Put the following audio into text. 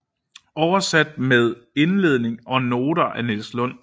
Oversat med indledning og noter af Niels Lund